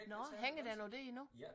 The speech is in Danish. Nåh hænger den i det endnu